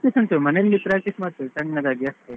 Practice ಉಂಟು ಮನೆಯಲ್ಲಿ practice ಮಾಡ್ತೇನೆ ಸಣ್ಣದಾಗಿ ಅಷ್ಟೇ.